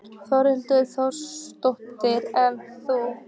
Þórhildur Þorkelsdóttir: En þú?